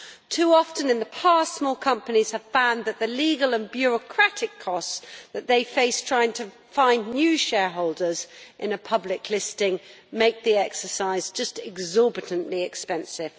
Too often in the past, small companies have found that the legal and bureaucratic costs that they face trying to find new shareholders in a public listing make the exercise exorbitantly expensive.